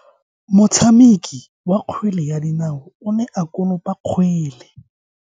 Motshameki wa kgwele ya dinao o ne a konopa kgwele.